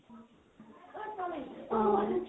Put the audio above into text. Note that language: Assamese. অহ